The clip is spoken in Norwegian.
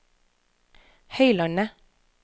Høylandet